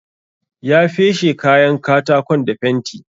Ya feshe kayan katakon da fenti.